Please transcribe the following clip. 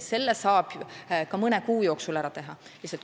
Selle saab ka mõne kuu jooksul ära teha.